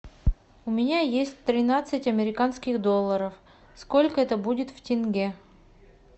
у меня есть тринадцать американских долларов сколько это будет в тенге